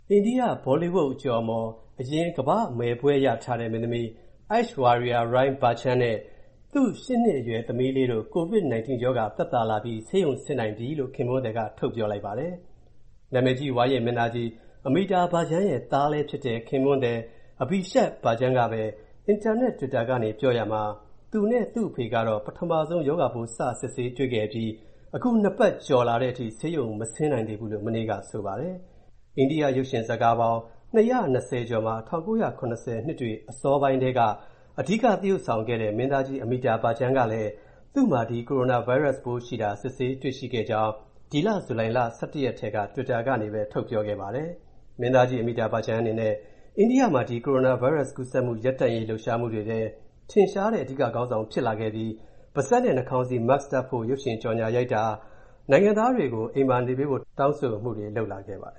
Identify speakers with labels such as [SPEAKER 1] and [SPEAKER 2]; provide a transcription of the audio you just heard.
[SPEAKER 1] အိန္ဒိယ ဘောလီဝုဒ် အကျော်အမော် ကမ္ဘာ့မယ်ဘွဲ့ရထားတဲ့ မင်းသမီး Aishwarya Rai Bachchan နဲ့ သူ့ (၈) နှစ်အရွယ် သမီးလေးတို့ ကိုဗစ်-19 ရောဂါသက်သာလာပြီး ဆေးရုံဆင်းနိုင်ပြီလို့ ခင်ပွန်းသည်က ပြောကြားခဲ့ပါတယ်။ နာမည်ကြီး အိန္ဒိယ ဝါရင့်မင်းသားကြီး Amitabh Bachchan ရဲ့သား၊ ခင်ပွန်းသဖြစ်သူ Abhishek က သူရဲ့ လူမှု အင်တာနက် တွစ်တာကနေ မနေ့က ရေးသားခဲ့ရာမှာ သူနဲ့ သူ့အဖေမှာ ပထမဆုံး ရောဂါပိုးစစ်ဆေးတွေ့ခဲ့ပြီး၊ အခု (၂) ပတ်ကျော်လာတဲ့အထိ ဆေးရုံ မဆင်းနိုင်သေးဘူးလို့ဆိုပါတယ်။ ၁၉၇၀ ခုနှစ် အစောပိုင်းကာလတွေကစပြီး ရုပ်ရှင်ကားပေါင်း ၂၀၀ ကျော်မှာ ပါဝင်ခဲ့တဲ့ အထင်ကရ မင်းသားကြီး Amitabh Bachchan က စနေနေ့က သူ့မှာ ကိုရိုနာဗိုင်းရပ်စ် ကူးစက်ခံနေရကြောင်း သူ့ရဲ့ တွစ်တာ လူမှုကွန်ရက်ကနေတဆင့် ပြောကြားလိုက်ပါတယ်။ မင်းသားကြီး Amitabh Bachchan အနေနဲ့ အိန္ဒိယမှာ ဒီ ကိုရိုနာဗိုင်းရပ်ကူးစက်မူ ရပ်တန့်ရေးလှုပ်ရှားမူတွေထဲ ထင်ရှားတဲ့ အဓိကခေါင်းဆောင်ဖြစ်လာခဲ့ပြီး၊ပါးစပ်နဲ့နှာခေါင်းစည်း (Mask) တပ်ဖို့ ရုပ်ရှင်ကြော်ငြာရိုက်တာ၊နိုင်ငံသားတွေကို အိမ်မှာနေကြဖို့လည်း တောင်းဆိုလာခဲ့ပါတယ